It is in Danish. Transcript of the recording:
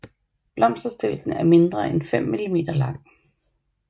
Blomsterstilken er mindre end 5 millimeter lang